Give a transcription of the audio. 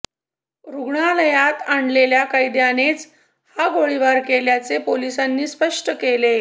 रुग्णालयात आणलेल्या कैद्यानेच हा गोळाबार केल्याचे पोलिसांनी स्पष्ट केले